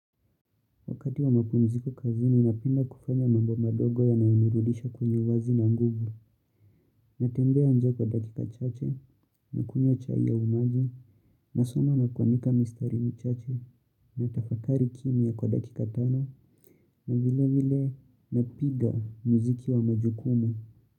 Wakati wa mapumziko kazini, ninapenda kufanya mambo madogo ya nanirudisha kwenye uwazi na nguvu. Natembea nje kwa dakika chache, na kunywa chai au maji, na soma na kuandika mistari michache, na tafakari kimya kwa dakika tano, na vile vile napiga mziki wa majukumu.